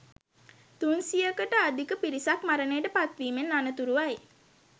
තුන් සියයකට අධික පිරිසක් මරණයට පත්වීමෙන් අනතුරුවයි